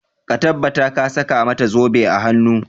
Ka tabbata ka saka mata zobe a hanu!